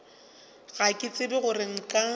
ga ke tsebe gore nka